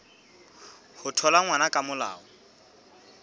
ho thola ngwana ka molao